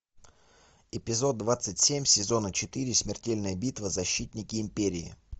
эпизод двадцать семь сезона четыре смертельная битва защитники империи